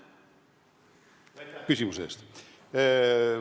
Aitäh küsimuse eest!